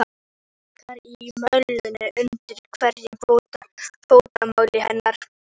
Það brakaði í mölinni undir hverju fótmáli hennar.